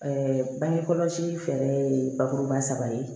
bange kɔlɔsi fɛɛrɛ ye bakuruba saba ye